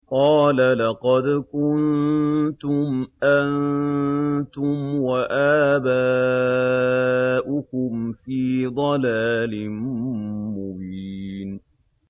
قَالَ لَقَدْ كُنتُمْ أَنتُمْ وَآبَاؤُكُمْ فِي ضَلَالٍ مُّبِينٍ